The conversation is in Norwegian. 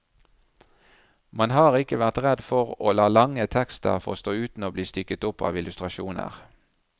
Man har ikke vært redd for å la lange tekster få stå uten å bli stykket opp av illustrasjoner.